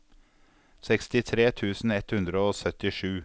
sekstitre tusen ett hundre og syttisju